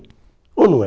Ou não é?